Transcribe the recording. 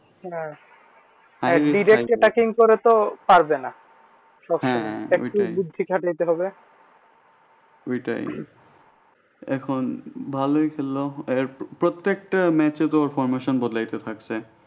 এখন ভালোই খেলল প্রত্যেকটা match এ তো formation বদলাতে থাকছে।